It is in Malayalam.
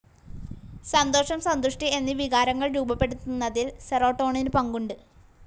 സന്തോഷം, സന്തുഷ്ടി എന്നീ വികാരങ്ങൾ രൂപ്പെടുത്തുന്നതിൽ സീറോട്ടോണിൻ പങ്കുണ്ട്.